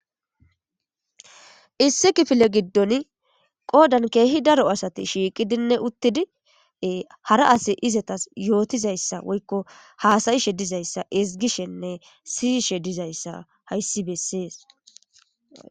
Issi kifile gidon qodan qodan kehi daro asati shiqidinne utidi hara asi izetas yotidayssa woyikko hasayishe dizayissa ezgishshene siyishshe dizayissa hays besses